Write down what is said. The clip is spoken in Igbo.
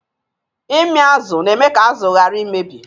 Ịmị azụ na-eme ka azụ ghara imebi.